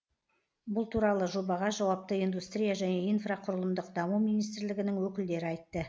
бұл туралы жобаға жауапты индустрия және инфрақұрылымдық даму министрлігінің өкілдері айтты